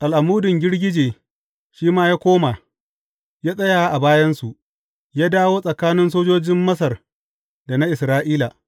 Al’amudin girgije shi ma ya koma, ya tsaya a bayansu, ya dawo tsakanin sojojin Masar da na Isra’ila.